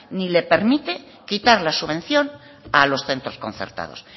ni le permite quitar la subvención a los centros concertados